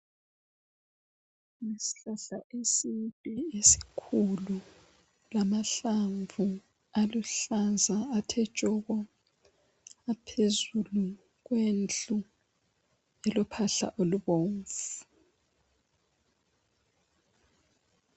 Isihlahla eside esikhulu lamahlamvu aluhlaza athe tshoko aphezulu kwendlu elophahla olubomvu.